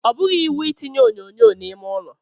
Ọ bụghị iwu I tinye onyonyo n'ime ụlọ.